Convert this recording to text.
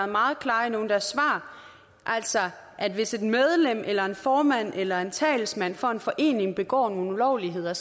meget klare i nogle af deres svar altså hvis et medlem eller en formand eller en talsmand for en forening begår nogle ulovligheder